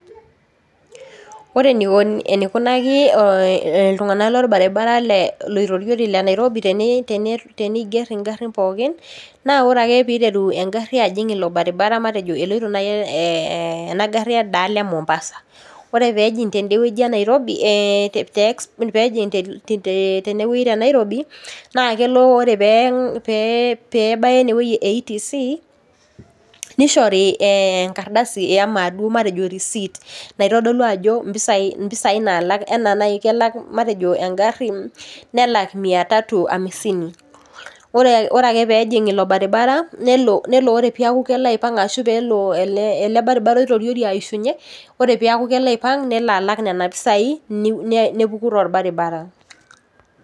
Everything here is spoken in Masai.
Ore eneikunaki iltunganak lobaribara loitoriori le Nairobi teniger engarin pooki, naa ore ake peeiteru engari ajing ilo baribara matejo eloito naai enaari endaalo emombasa, ore peejing tenewoji tenairobi naake ole peebaya enewoji ETC nishori engardasi matejo risiit naitodolu impisai naalak enaa nai matejo kelak engari, nelak miatatu amisini. Ore ake peejing ilo baribara nelo ore ake peeku kelo aipanga ashu peelo ele baribara aitoriori aishunye, ore peeku kelo aipanga nelo alak nena pisai nepuku tolbaribara.